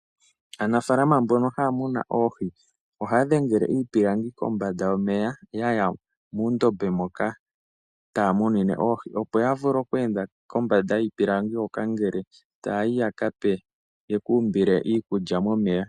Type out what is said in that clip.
Aanafaalama mbono haya munu oohi, ohaya dhengele iipilangi komanda yomeya yaya muundombe moka taya munine oohi, opo ya vule oku enda kombanda yiipilangi hoka ngele taya yi ya ka pe, yeku umbile iikulya momeya.